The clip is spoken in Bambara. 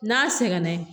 N'a sɛgɛnna